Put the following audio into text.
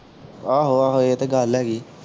ਆਹੋ ਆਹੋ ਇਹ ਤੇ ਗੱਲ ਹੈਗੀ